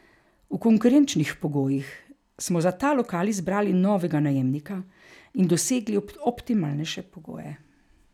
V konkurenčnih pogojih smo za ta lokal izbrali novega najemnika in dosegli optimalnejše pogoje.